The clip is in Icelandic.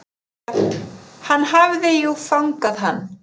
Hann hafði jú fangað hann.